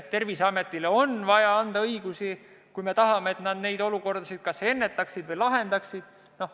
Terviseametile on vaja anda õigusi, kui me tahame, et nad neid olukordi kas ennetaksid või lahendaksid.